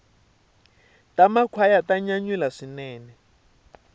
ta makhwaya ta nyanyula swinene